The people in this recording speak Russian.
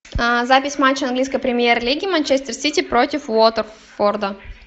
запись матча английской премьер лиги манчестер сити против уотфорда